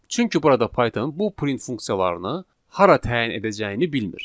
Çünki burada da Python bu print funksiyalarını hara təyin edəcəyini bilmir.